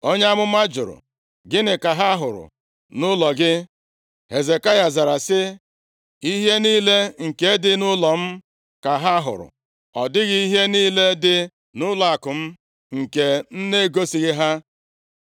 Onye amụma jụrụ, “Gịnị ka ha hụrụ nʼụlọ gị?” Hezekaya zara sị, “Ihe niile nke dị nʼụlọ m ka ha hụrụ. Ọ dịghị ihe niile dị nʼụlọakụ m nke m na-egosighị ha.”